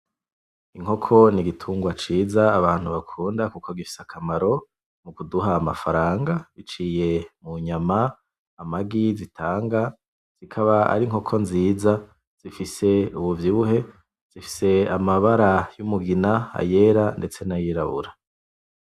Inkoko n’igitugwa ciza abantu bakunda ‘ kuko gifise akamaro mukuduha amafaranga biciye mu nyama , amagi zitanga. Zikaba ari nkoko nziza zifise ubuvyibuhe ,zifise n'amabara yumugina, ayera ndetse nayirabura.